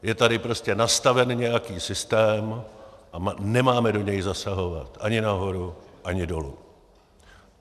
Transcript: Je tady prostě nastaven nějaký systém a nemáme do něj zasahovat ani nahoru, ani dolů.